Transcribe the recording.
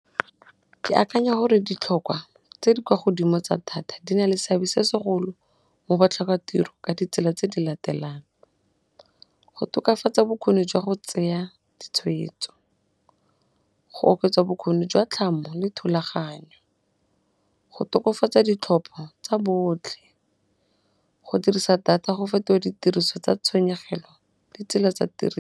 Ke akanya hore ditlhokwa tse di kwa godimo tsa thata di na le seabe se segolo mo botlhoka tiro ka ditsela tse di latelang, go tokafatsa bokgoni jwa go tseya ditshwetso, go oketsa bokgoni jwa tlhamo le thulaganyo, go tokafatsa ditlhopho tsa botlhe, go dirisa data go feto ditiriso tsa tshenyegelo ditsela tsa tiri .